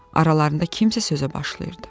Aralarında kimsə sözə başlayırdı.